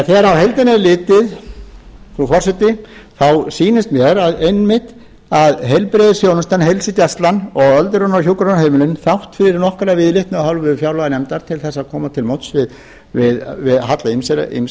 þegar á heildina er litið frú forseti sýnist mér einmitt að heilbrigðisþjónsutan heilsugæslan og öldrunar og hjúkrunarheimilin þrátt fyrir nokkra viðleitni af hálfu fjárlaganefndar til þess að koma til móts við halla